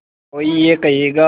कोई ये कहेगा